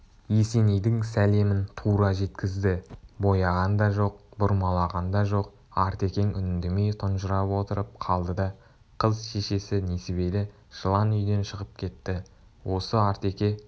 есенейдің сәлемін тура жеткізді бояған да жоқ бұрмалаған да жоқ артекең үндемей тұнжырап отырып қалды да қыз шешесі несібелі жылан үйден шығып кетті осы артеке